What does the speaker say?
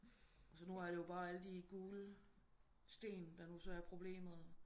Og så nu er det jo bare alle de gule sten der nu så er problemet